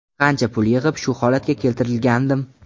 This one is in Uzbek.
Qancha pul yig‘ib, shu holatga keltirgandim.